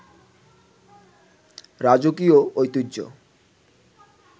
রাজকীয় ঐতিহ্য